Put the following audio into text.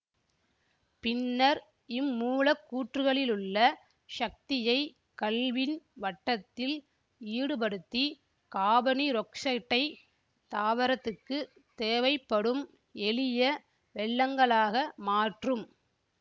பின்னர் இம்மூலக்கூற்றுகளிலுள்ள சக்தியை கல்வின் வட்டத்தில் ஈடுபடுத்தி காபனீரொக்சைட்டை தாவரத்துக்குத் தேவைப்படும் எளிய வெல்லங்களாக மாற்றும்